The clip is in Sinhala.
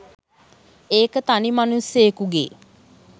ඒක තනි මනුස්සයෙකුගේ